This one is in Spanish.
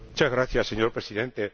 Muchas gracias, señor Presidente.